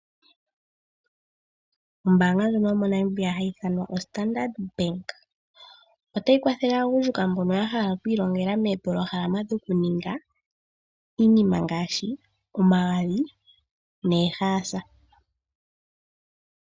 Ombaanga ndjono yo mo Namibia hayi ithanwa standard bank otayi kwathele aagundjuka mbono ya hala okwii longela moopologalama dho ku ninga iinima ngaashi omagadhi neehaasa.